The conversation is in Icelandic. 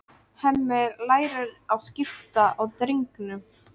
Hemmi lærir að skipta á drengnum.